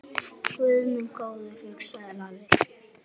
Guð minn góður, hugsaði Lalli.